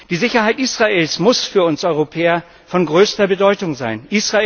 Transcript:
Die Sicherheit Israels muss für uns Europäer von größter Bedeutung sein.